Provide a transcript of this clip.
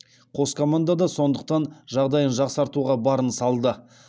қос команда да сондықтан жағдайын жақсартуға барын салды